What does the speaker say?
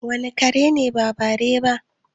Wane kare ne ba bare ba?